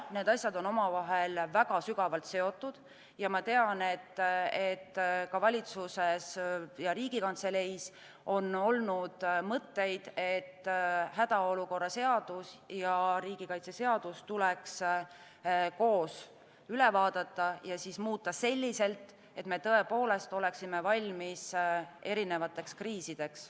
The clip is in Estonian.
Need asjad on omavahel väga sügavalt seotud ja ma tean, et ka valitsuses ning Riigikantseleis on olnud mõtteid, et hädaolukorra seadus ja riigikaitseseadus tuleks üle vaadata ja muuta selliselt, et me tõepoolest oleksime valmis erinevateks kriisideks.